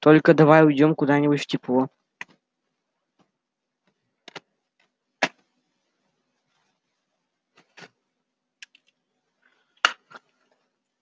только давай уйдём куда-нибудь в тепло